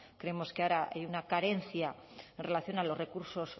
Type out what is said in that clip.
creemos que ahora hay una carencia en relación a los recursos